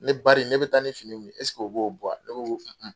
Ne BARI ne bɛ taa ni fini min ye o b'o bɔ wa? ne ko n ko